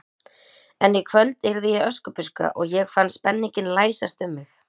En í kvöld yrði ég Öskubuska og ég fann spenninginn læsast um mig.